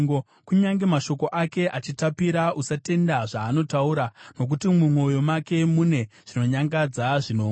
Kunyange mashoko ake achitapira, usatenda zvaanotaura, nokuti mumwoyo make mune zvinonyangadza zvinomwe.